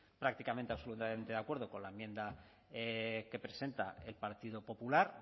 prácticamente absolutamente de acuerdo con la enmienda que presenta el partido popular